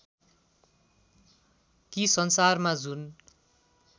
कि संसारमा जुन